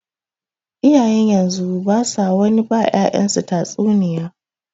Iyayen yanzu basu wani ba ƴa'ƴansu tatsuniya.